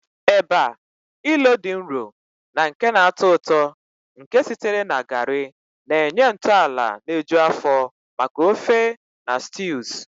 Eba, ilo dị nro na nke na-atọ ụtọ nke sitere na garri, na-enye ntọala na-eju afọ maka ofe na stews